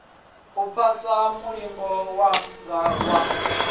u phasa mulingo wanga wa